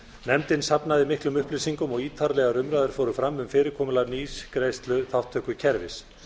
nefndin safnaði miklum upplýsingum og ítarlegar umræður fóru fram um fyrirkomulag nýs greiðsluþátttökukerfis